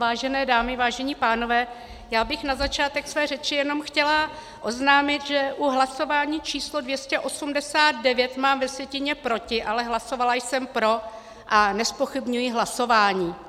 Vážené dámy, vážení pánové, já bych na začátek své řeči jenom chtěla oznámit, že u hlasování číslo 289 mám ve sjetině proti, ale hlasovala jsem pro a nezpochybňuji hlasování.